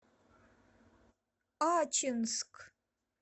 ачинск